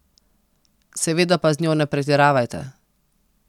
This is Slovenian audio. Seveda pa z njo ne pretiravajte.